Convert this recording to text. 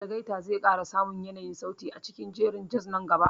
Algaita zai ƙara samun yanayin sauti a cikin jerin jaz nan gaba.